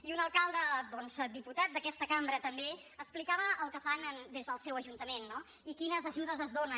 i un alcalde diputat d’aquesta cambra també explicava el que fan des del seu ajuntament no i quines ajudes es donen